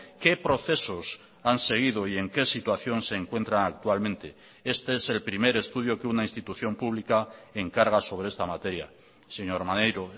qué procesos han seguido y en qué situación se encuentran actualmente este es el primer estudio que una institución pública encarga sobre esta materia señor maneiro